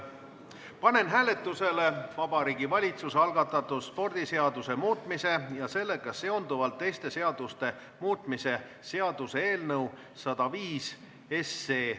Panen hääletusele Vabariigi Valitsuse algatatud spordiseaduse muutmise ja sellega seonduvalt teiste seaduste muutmise seaduse eelnõu 105.